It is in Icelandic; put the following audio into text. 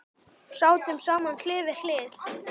Sátum saman hlið við hlið.